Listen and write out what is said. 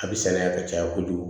A bɛ sɛnɛ yan ka caya kojugu